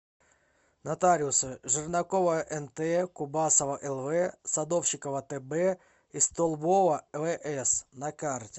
нотариусы жернакова нт кубасова лв садовщикова тб и столбова вс на карте